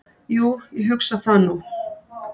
"""Jú, ég hugsa það nú."""